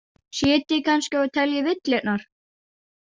Sitjið kannski og teljið villurnar?